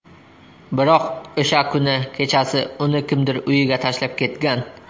Biroq o‘sha kuni kechasi uni kimdir uyiga tashlab ketgan.